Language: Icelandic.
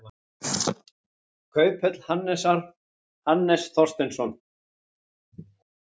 Kauphöll Hannesar, Hannes Þorsteinsson.